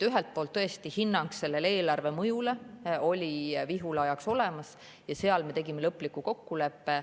Tõesti, hinnang sellele eelarvemõjule oli Vihula ajaks olemas ja seal me tegime lõpliku kokkuleppe.